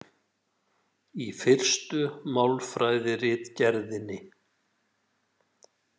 Í Fyrstu málfræðiritgerðinni.